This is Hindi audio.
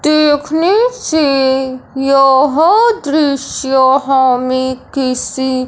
देखने से यह दृश्य हमें किसी--